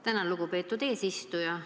Tänan, lugupeetud eesistuja!